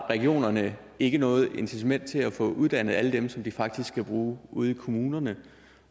regionerne ikke har noget incitament til at få uddannet alle dem som de faktisk skal bruge ude i kommunerne